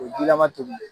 O ye jilama tobi